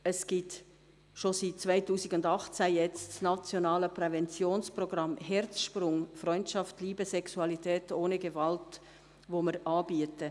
Es gibt bereits seit 2018 das nationale Präventionsprogramm «Herzsprung – Präventionsprogramm für Freundschaft, Liebe, Sexualität ohne Gewalt», welches wir anbieten.